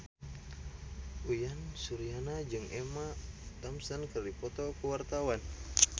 Uyan Suryana jeung Emma Thompson keur dipoto ku wartawan